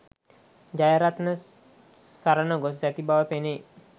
ජයරත්න සරණ ගොස් ඇති බව පෙනේ